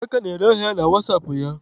Udoka na-ere ahịa ya na wasapụ ya